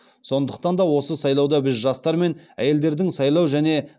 сондықтан да осы сайлауда біз жастар мен әйелдердің сайлау және